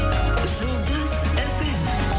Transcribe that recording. жұлдыз фм